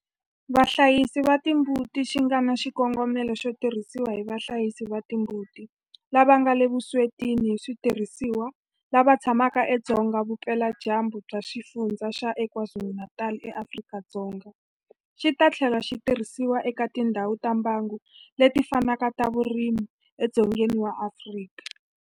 Vahlayisi va timbuti xi nga na xikongomelo xo tirhisiwa hi vahlayisi va timbuti lava nga le vuswetini hi switirhisiwa lava tshamaka edzonga vupeladyambu bya Xifundzha xa KwaZulu-Natal eAfrika-Dzonga, xi ta tlhela xi tirhisiwa eka tindhawu ta mbango leti fanaka ta vurimi edzongeni wa Afrika.